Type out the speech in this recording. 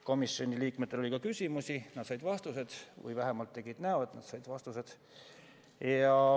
Komisjoni liikmetel oli ka küsimusi, nad said vastused või vähemalt tegid näo, et nad said vastused.